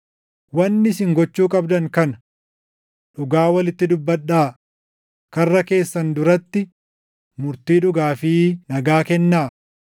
Wanni isin gochuu qabdan kana: Dhugaa walitti dubbadhaa; karra keessan duratti murtii dhugaa fi nagaa kennaa;